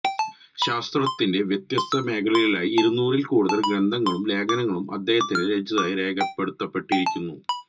ശാസ്ത്രത്തിന്റെ വ്യത്യസ്ത മേഖലകളിലായി ഇരുനൂറിൽ കൂടുതൽ ഗ്രന്ഥങ്ങളും ലേഖനങ്ങളും അദ്ദേഹം രചിച്ചതായി രേഖപ്പെടുത്തപ്പെട്ടിരിക്കുന്നു